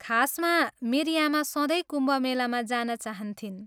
खासमा, मेरी आमा सधैँ कुम्भ मेलामा जान चाहन्थिन्।